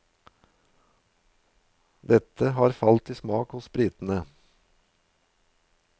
Dette har falt i smak hos britene.